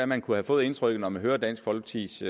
man kunne få indtryk af når man hører dansk folkepartis